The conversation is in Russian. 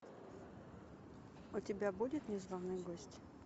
у тебя будет незваный гость